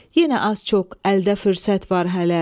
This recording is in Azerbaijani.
Yenə az-çox əldə fürsət var hələ.